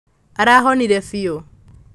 arahonire biũ